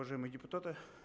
уважаемые депутаты